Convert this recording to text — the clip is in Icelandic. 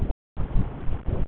Hann hallar sér upp að vegg.